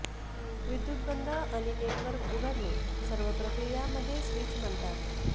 विद्युत बंद आणि नेटवर्क उघडणे सर्व प्रक्रिया मध्ये स्विच म्हणतात